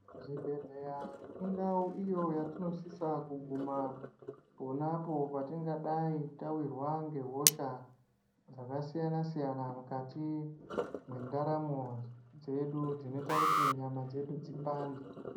Zvibhedhleya indau iyo yatinosisa kuguma ponapo patingadai tavirwa ngehosha dzakasiyana-siyana, mukati mwendaramo dzedu ,dzinoita kuti nyama dzedu dzipande.